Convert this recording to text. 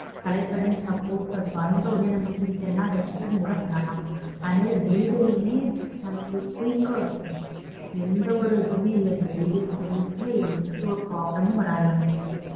Select பண்ணி suppose அது வந்த உடனே நமக்கு பிடிக்கலேன்னா அத return கூட பண்ணலாம். அதே மாறி delivery மே நமக்கு quick ஆ இருக்கும். எந்த ஒரு இதுவுமே இல்ல delivery service ல எந்த ஒரு problem மும் வராது நமக்கு.